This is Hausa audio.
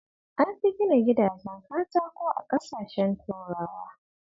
An fi gina gidajen katako a ƙasashen turawa